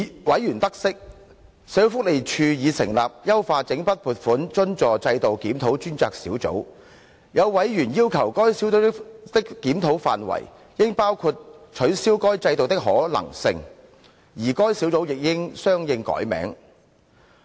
委員得悉，社會福利署已成立"優化整筆撥款津助制度檢討專責小組"，有委員要求該小組的檢討範圍，應包括取消該制度的可能性，而該小組亦應相應改名。